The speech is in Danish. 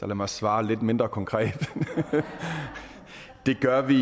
mig svare lidt mindre konkret det gør vi